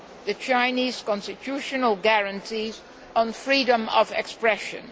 the Chinese constitutional guarantees on freedom of expression.